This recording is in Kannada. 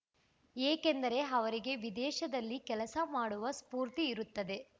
ಏಕೆಂದರೆ ಅವರಿಗೆ ವಿದೇಶದಲ್ಲಿ ಕೆಲಸ ಮಾಡುವ ಸ್ಫೂರ್ತಿ ಇರುತ್ತದೆ